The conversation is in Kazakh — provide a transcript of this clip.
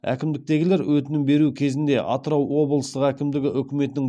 әкімдіктегілер өтінім беру кезінде атырау облыстық әкімдігі үкіметтің